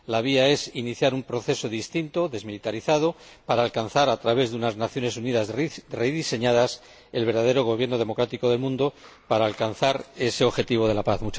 La vía es iniciar un proceso distinto, desmilitarizado, para alcanzar, a través de unas Naciones Unidas rediseñadas, el verdadero gobierno democrático del mundo, para alcanzar ese objetivo de la paz.